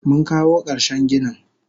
Munkawo karshen ginin.